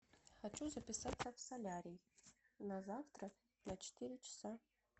хочу записаться в солярий на завтра на четыре часа